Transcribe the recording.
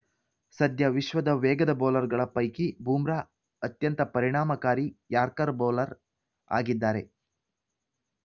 ಸದ್ಯ ವಿಶ್ವದ ವೇಗದ ಬೌಲರ್‌ಗಳ ಪೈಕಿ ಬೂಮ್ರಾ ಅತ್ಯಂತ ಪರಿಣಾಮಕಾರಿ ಯಾರ್ಕರ್‌ ಬೌಲರ್‌ ಆಗಿದ್ದಾರೆ